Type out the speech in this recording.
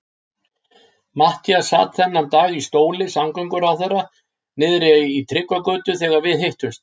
Matthías sat þennan dag í stóli samgönguráðherra niðri í Tryggvagötu þegar við hittumst.